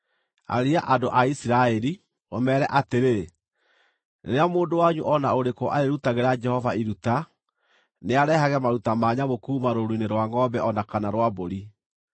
“Arĩria andũ a Isiraeli, ũmeere atĩrĩ: ‘Rĩrĩa mũndũ wanyu o na ũrĩkũ arĩĩrutagĩra Jehova iruta, nĩarehage maruta ma nyamũ kuuma rũũru-inĩ rwa ngʼombe o na kana rwa mbũri.